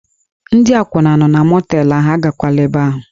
Ndị akwụna nọ na mọteelụ ahụ, agakwala ebe ahụ!